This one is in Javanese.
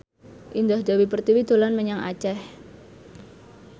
Indah Dewi Pertiwi dolan menyang Aceh